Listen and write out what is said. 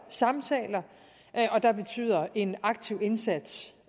samtaler og en aktiv indsats